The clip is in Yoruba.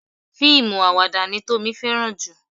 Fíìmù àwàdà ni Tómi fẹ́ràn jù.